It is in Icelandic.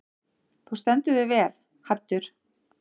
Þú stendur þig vel, Haddur!